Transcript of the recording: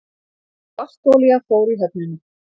Svartolía fór í höfnina